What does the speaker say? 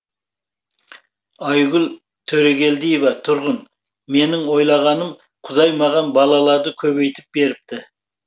айгүл төрегелдиева тұрғын менің ойлағаным құдай маған балаларды көбейтіп беріпті